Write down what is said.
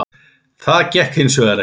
Það gekk hins vegar ekki.